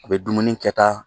U bɛ dumuni kɛtaa